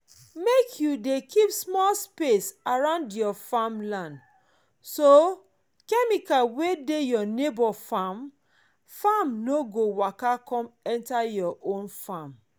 make you keep small space around your farmland so chemical wey dey your neighbor farm farm no go waka come enter your own farm